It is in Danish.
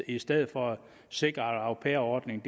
i stedet for at sikre at au pair ordningen